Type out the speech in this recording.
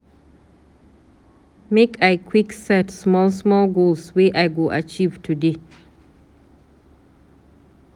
Make I quick set small-small goals wey I go achieve today.